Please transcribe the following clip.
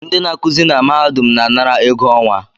Ndị na-akụzị na mahadum na-anara ego ọnwa